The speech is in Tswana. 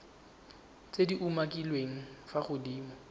tse di umakiliweng fa godimo